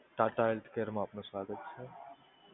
tata healthcare માં આપનો સ્વાગત છે.